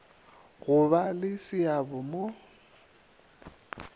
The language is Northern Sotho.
go ba le seabo mo